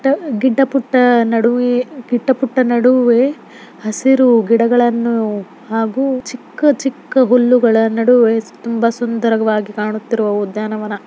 ಗಿಡ್ಡ ಪುಟ್ಟ ನಡುವೆ ಕಿಟ್ಟ ಪುಟ್ಟ ನಡುವೆ ಗಿಡ್ಡ ಪುಟ್ಟ ನಡುವೆ ಕಿಟ್ಟ ಪುಟ್ಟ ನಡುವೆ ಹಸಿರು ಗಿಡಗಳನ್ನು ಹಾಗು ಚಿಕ್ಕ ಹುಲ್ಲುಗಳು ನಡುವೆ ತುಂಬಾ ಸುಂದರವಾಗಿ ಕಾಣುತ್ತಿರುವ ಉದ್ಯಾನವನ.